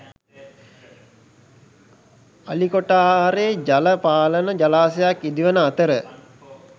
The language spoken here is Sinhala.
අලිකොටආරේ ජල පාලන ජලාශයක් ඉදිවන අතර